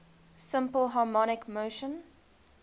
simple harmonic motion